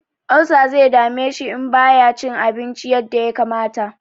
Olsa zai dame shi in ba ya cin abinci yadda ya kamata.